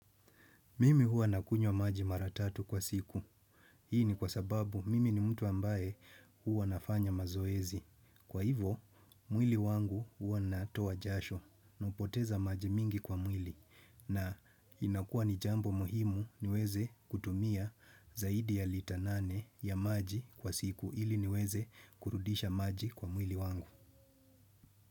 Mimi huwa nakunywa maji mara tatu kwa siku. Hii ni kwa sababu mimi ni mtu ambaye huwa nafanya mazoezi. Kwa hivo, mwili wangu huwa natoa jasho. Napoteza maji mingi kwa mwili. Na inakua ni jambo muhimu niweze kutumia zaidi ya lita nane ya maji kwa siku. Hili niweze kurudisha maji kwa mwili wangu.